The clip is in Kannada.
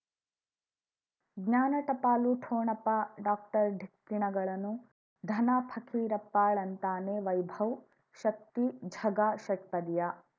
ಜ್ಞಾನ ಟಪಾಲು ಠೊಣಪ ಡಾಕ್ಟರ್ ಢಿಕ್ಕಿ ಣಗಳನು ಧನ ಫಕೀರಪ್ಪ ಳಂತಾನೆ ವೈಭವ್ ಶಕ್ತಿ ಝಗಾ ಷಟ್ಪದಿಯ